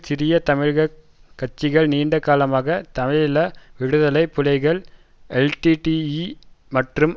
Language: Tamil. சிறிய தமிழகக் கட்சிகள் நீண்ட காலமாக தமிழீழ விடுதலை புலிகள் எல்டிடிஇ மற்றும்